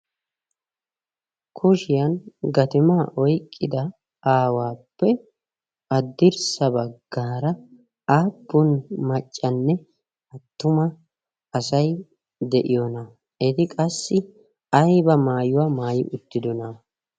Kushiyan gatimaa oyqqida aawaappe haddirsa baggaara aappun maccanne attuma asay de"iyoonaa? Eti qassi ayiba maayuwa maayi uttidonaa?